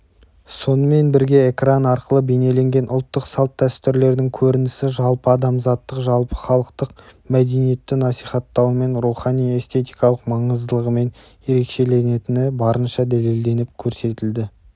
сонымен бірге экран арқылы бейнеленген ұлттық салт-дәстүрлердің көрінісі жалпыадамзаттық жалпыхалықтық мәдениетті насихаттауымен рухани-эстетикалық маңыздылығымен ерекшеленетіні барынша дәлелденіп көрсетілді